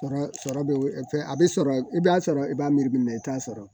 Sɔrɔ sɔrɔ bɛ fɛn a bɛ sɔrɔ i b'a sɔrɔ i b'a miiri min na i t'a sɔrɔ